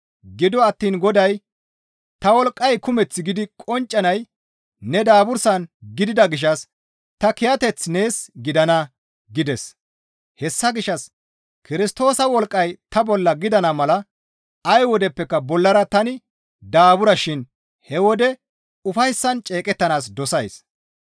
Gido attiin Goday, «Ta wolqqay kumeth gidi qonccanay ne daabursan gidida gishshas ta kiyateththi nees gidana» gides; hessa gishshas Kirstoosa wolqqay ta bolla gidana mala ay wodeppeka bollara tani daaburshin he wode ufayssan ceeqettanaas dosays.